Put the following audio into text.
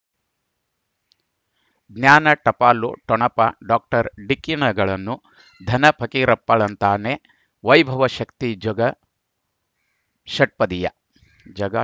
ಜ್ಞಾನ ಟಪಾಲು ಠೊಣಪ ಡಾಕ್ಟರ್ ಢಿಕ್ಕಿ ಣಗಳನು ಧನ ಫಕೀರಪ್ಪ ಳಂತಾನೆ ವೈಭವ ಶಕ್ತಿ ಝಗಾ ಷಟ್ಪದಿಯ ಝಗ